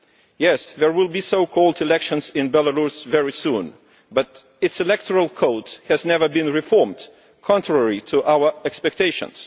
Yes, there will be so called elections in Belarus very soon, but the country's electoral code has never been reformed, contrary to our expectations.